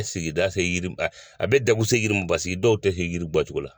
A sigida se yiriw la a bɛ degun se yiriw ma paseke dɔw tɛ se yiri bɔ cogo la.